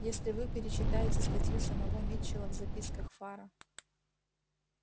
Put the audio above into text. если вы перечитаете статью самого митчелла в записках фара